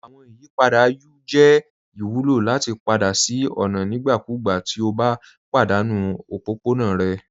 Awọn ìyìpadà U jẹ ìwùlọ lati padà sí ọ̀na nígbàkúgbà ti o bá padanu òpópọ̀na rẹ.